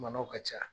Manɔgɔ ka ca